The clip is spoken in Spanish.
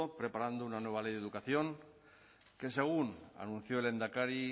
preparando una nueva ley de educación que según anunció el lehendakari